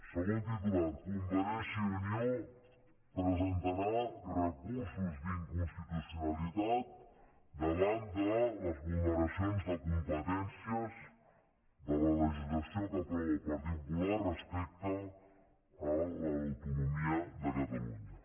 segon titular convergència i unió presentarà recursos d’inconstitucionalitat davant de les vulneracions de competències de la legislació que aprova el partit popular respecte a l’autonomia de catalunya